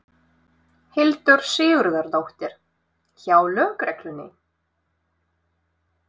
Hildur Sigurðardóttir: Hjá lögreglunni?